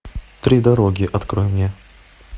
три дороги открой мне